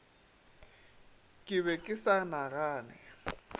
ke be ke sa nagane